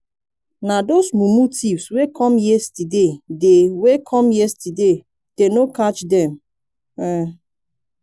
na those mumu thieves wey come yesterdaydey wey come yesterdaydey no catch dem. um